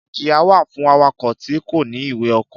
Ìjíya wà fun àwákọ̀ tì kọ̀ní Ìwé ọ̀kọ.